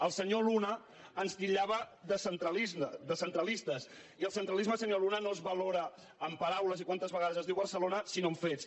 el senyor luna ens titllava de centralistes i el centralisme senyor luna no es valora amb paraules i quantes vegades es diu barcelona sinó amb fets